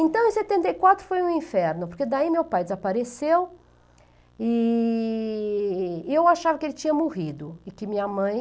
Então, em setenta e quatro foi um inferno, porque daí meu pai desapareceu, e e eu achava que ele tinha morrido, e que minha mãe...